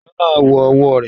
Ìṣó náà wọ ọwọ́ rẹ̀.